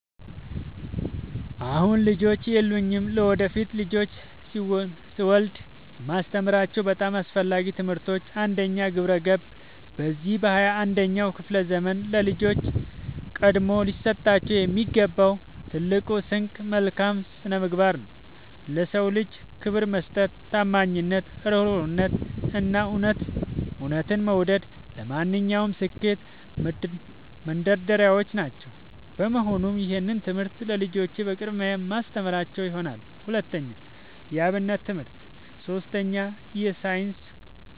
አሁን ልጆች የሉኝም። ለወደፊት ልጆችን ስወልድ የማስተምራቸው በጣም አስፈላጊ ትምህርቶች፦ 1. ግብረ-ገብ፦ በዚህ በ 21ኛው ክፍለ ዘመን ለልጆች ቀድሞ ሊሰጣቸው የሚገባው ትልቁ ስንቅ መልካም ስነምግባር ነው። ለ ሰው ልጅ ክብር መስጠት፣ ታማኝነት፣ እሩህሩህነት፣ እና እውነትን መውደድ ለማንኛውም ስኬት መንደርደሪያዎች ናቸው። በመሆኑም ይህንን ትምህርት ለልጆቼ በቅድሚያ የማስተምራቸው ይሆናል። 2. የ አብነት ትምህርት 3. ሳይንስ